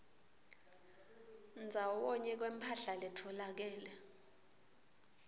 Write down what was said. ndzawonye kwemphahla letfolakele